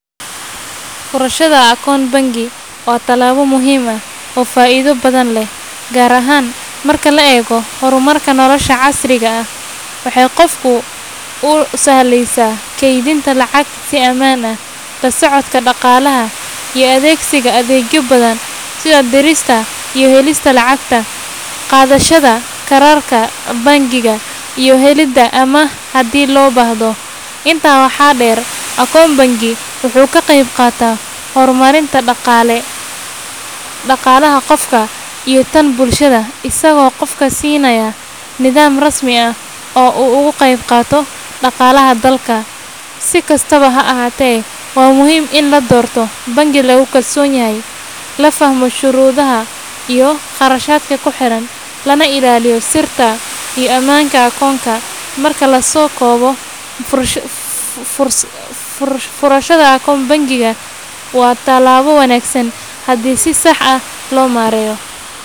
Furashada akoon bangi waa tallaabo muhiim ah oo faa'iido badan leh, gaar ahaan marka la eego horumarka nolosha casriga ah. Waxay qofka u sahlaysaa kaydinta lacagta si ammaan ah, la socodka dhaqaalaha, iyo adeegsiga adeegyo badan sida dirista iyo helista lacag, qaadashada kaararka bangiga, iyo helidda amaah haddii loo baahdo. Intaa waxaa dheer, akoon bangi wuxuu ka qayb qaataa horumarinta dhaqaalaha qofka iyo tan bulshada, isagoo qofka siinaya nidaam rasmi ah oo uu ugu qaybqaato dhaqaalaha dalka. Si kastaba ha ahaatee, waa muhiim in la doorto bangi lagu kalsoon yahay, la fahmo shuruudaha iyo kharashaadka ku xiran, lana ilaaliyo sirta iyo ammaanka akoonka. Marka la soo koobo, furashada akoon bangi waa tallaabo wanaagsan haddii si sax ah loo maareeyo.